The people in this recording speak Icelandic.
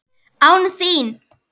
ÁN ÞÍN!?